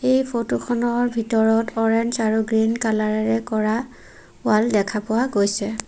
এই ফটোখনত ভিতৰত অৰেঞ্জ আৰু গ্ৰীণ কালাৰেৰে কৰা ৱাল দেখা পোৱা গৈছে।